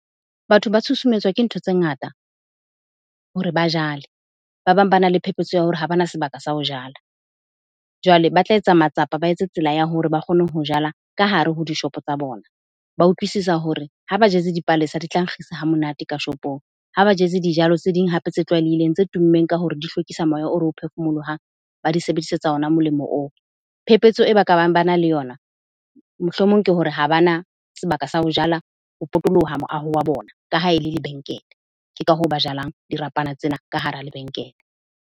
Batho ba tshusumetswa ke ntho tse ngata hore ba jale. Ba bang bana le phephetso ya hore ha bana sebaka sa ho jala. Jwale ba tla etsa matsapa, ba etse tsela ya hore ba kgone ho jala ka hare ho dishopo tsa bona. Ba utlwisisa hore ha ba jetse dipalesa di tla nkgisa ha monate ka shopong. Ha ba jetse dijalo tse ding hape tse tlwaelehileng tse tummeng ka hore di hlokisa moya o re o phefumolohang, ba di sebedisetsa ona molemo oo. Phephetso e ba ka bang bana le yona, mohlomong ke hore ha bana sebaka sa ho jala ho potoloha moaho wa bona, ka ha e le lebenkele. Ke ka hoo ba jalang dirapana tsena ka hara lebenkele.